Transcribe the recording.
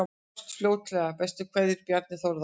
Sjáumst fljótt, bestu kveðjur: Bjarni Þórður